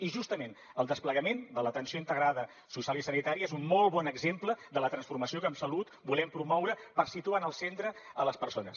i justament el desplegament de l’atenció integrada social i sanitària és un molt bon exemple de la transformació que en salut volem promoure per situar en el centre les persones